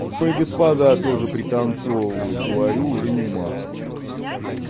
ой господа тоже пританцовывает говорю уже не матом